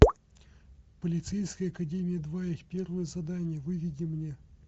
полицейская академия два их первое задание выведи мне